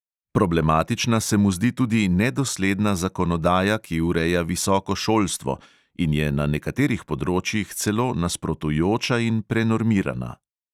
Problematična se mu zdi tudi nedosledna zakonodaja, ki ureja visoko šolstvo in je na nekaterih področjih celo nasprotujoča in prenormirana.